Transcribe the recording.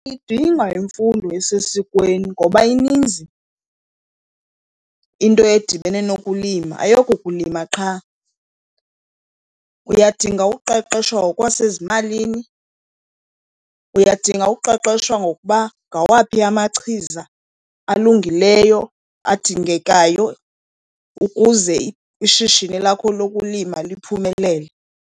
Idinga imfundo esesikweni ngoba ininzi into edibene nokulima, ayokukulima qha. Uyadinga uqeqesho ngokwasezimalini, uyadinga uqeqesho ngokuba ngawaphi amachiza alungileyo adingekayo ukuze ishishini lakho lokulima liphumelele.